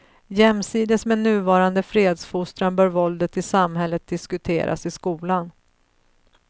Jämsides med nuvarande fredsfostran bör våldet i samhället diskuteras i skolan.